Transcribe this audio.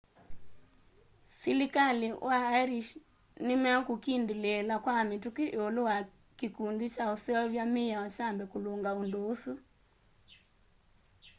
silikali wa ĩrĩsh nĩmekũkindĩlĩĩla kwa mituki iulu wa kĩkũndĩ kya ũseũvya mĩao kyambe kulunga undu ũsu